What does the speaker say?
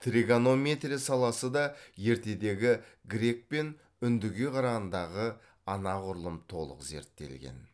тригонометрия саласы да ертедегі грек пен үндіге қарағандағы анағұрлым толық зерттелген